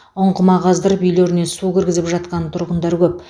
ұңғыма қаздырып үйлеріне су кіргізіп жатқан тұрғындар көп